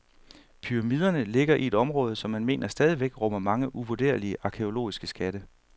Pyramiderne ligger i et område, som man mener stadigvæk rummer mange uvurderlige arkæologiske skatte.